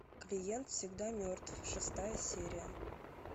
клиент всегда мертв шестая серия